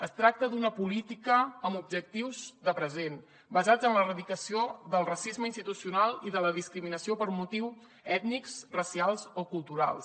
es tracta d’una política amb objectius de present basats en l’erradicació del racisme institucional i de la discriminació per motius ètnics racials o culturals